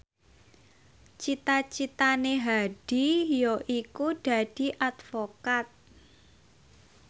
cita citane Hadi yaiku dadi advokat